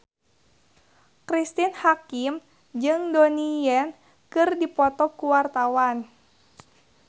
Cristine Hakim jeung Donnie Yan keur dipoto ku wartawan